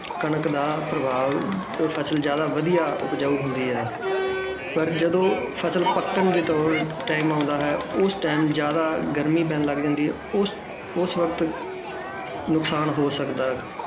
ਕਣਕ ਦਾ ਪ੍ਰਭਾਵ ਤੋਂ ਫ਼ਸਲ ਜ਼ਿਆਦਾ ਵਧੀਆ ਉਪਜਾਊ ਹੁੰਦੀ ਹੈ ਪਰ ਜਦੋਂ ਫ਼ਸਲ ਪੱਕਣ ਦਾ ਜਦੋਂ time ਆਉਂਦਾ ਹੈ ਉਸ time ਜ਼ਿਆਦਾ ਗਰਮੀ ਪੈਣ ਲੱਗ ਜਾਂਦੀ ਹੈ ਉਸ ਉਸ ਵਕਤ ਨੁਕਸਾਨ ਹੋ ਸਕਦਾ ਹੈ